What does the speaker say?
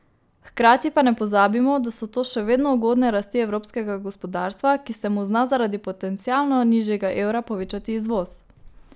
Hkrati pa ne pozabimo, da so to še vedno ugodne rasti evropskega gospodarstva, ki se mu zna zaradi potencialno nižjega evra povečati izvoz.